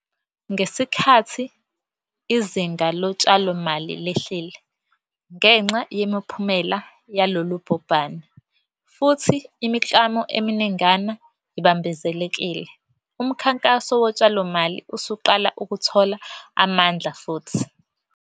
Ngesikhathi izinga lotshalomali lehlile ngenxa yemiphumela yalolu bhubhane, futhi imiklamo eminingana ibambezelekile, umkhankaso wotshalomali usuqala ukuthola amandla futhi.